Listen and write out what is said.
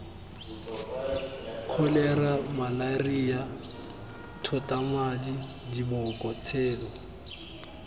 kholera malaria thotamadi diboko tshelo